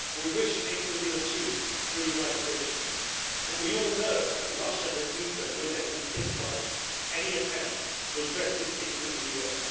We wish it could have been achieved through the United Nations, but we all know that Russia has vetoed no less than six times any attempt to address this issue in the UN.